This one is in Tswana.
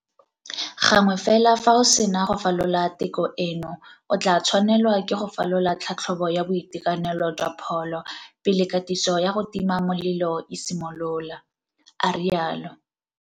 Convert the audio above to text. Gangwe fela fa o sena go falola teko eno, o tla tshwanelwa ke go falola tlhatlhobo ya boitekanelo jwa pholo pele katiso ya go tima molelo e simolola, a rialo.